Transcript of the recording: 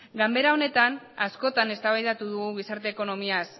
ganbara honetan askotan eztabaidatu dugu gizarte ekonomiaz